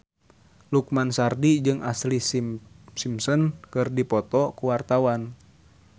Lukman Sardi jeung Ashlee Simpson keur dipoto ku wartawan